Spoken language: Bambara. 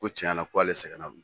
Ko tiɲɛ na k'ale sɛgɛnna